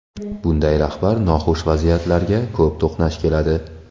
Bunday rahbar noxush vaziyatlarga ko‘p to‘qnash keladi.